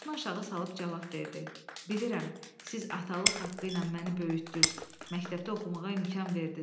Başını aşağı salıb cavab verdi: "Bilirəm, siz atalıq haqqı ilə məni böyütdüz, məktəbdə oxumağa imkan verdiz.